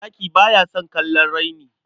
Zaki ba ya son kallon raini.